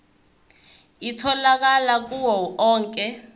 itholakala kuwo onke